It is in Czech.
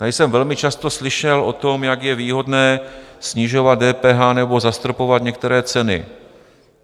Tady jsem velmi často slyšel o tom, jak je výhodné snižovat DPH nebo zastropovat některé ceny.